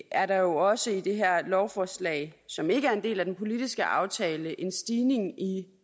er der jo også i det her lovforslag som ikke er en del af den politiske aftale en stigning i